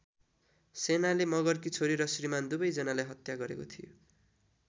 सेनाले मगरकी छोरी र श्रीमान् दुवै जनालाई हत्या गरेको थियो।